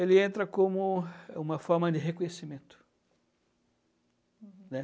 Ele entra como uma forma de reconhecimento. Uhum. Né?